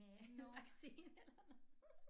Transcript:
Med vaccine eller noget